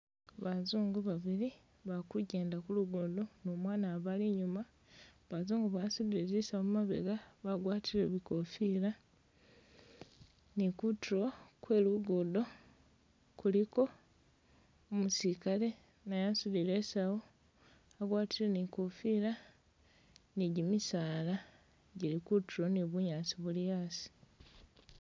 Bazungu babili ba kugyenda ku lugudo ni umwana abali inyuma, Bazungu basudile zisawu mumabega bagwatile bikofila, ni kutulo kwe lugudo kuliko umusilikale naye asudile i'sawu agwatile ni i'kofila ni gimisala gili kutulo ni bunyasi buli hasi.